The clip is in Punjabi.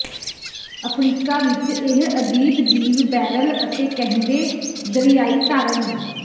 ਅਫਰੀਕਾ ਵਿੱਚ ਇਹ ਅਜੀਬ ਜੀਵ ਬੈਰਲ ਅਤੇ ਕਹਿੰਦੇ ਦਰਿਆਈ ਧਾਰਨ